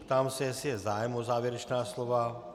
Ptám se, jestli je zájem o závěrečná slova.